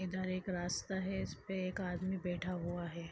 इधर एक रास्ता है इसपे एक आदमी बैैैठा हुआ हैं।